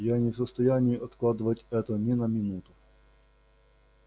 я не в состоянии откладывать это ни на минуту